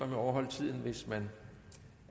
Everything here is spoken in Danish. at overholde tiden hvis man